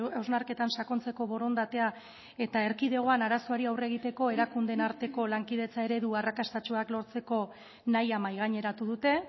hausnarketan sakontzeko borondatea eta erkidegoan arazoari aurre egiteko erakundeen arteko lankidetza eredu arrakastatsuak lortzeko nahia mahaigaineratu dute